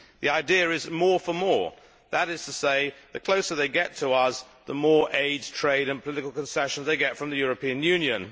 The idea is more for more, that is to say, the closer they get to us the more aid, trade and political concessions they get from the European Union.